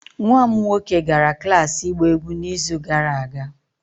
nwa m nwoke gara klas ịgba egwu n'izu gara aga